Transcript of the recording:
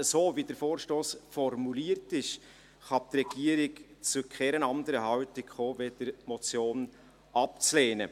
So, wie der Vorstoss formuliert ist, kann die Regierung zu keiner anderen Haltung kommen, als die Motion abzulehnen.